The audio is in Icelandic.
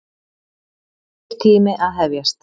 Nýr tími að hefjast.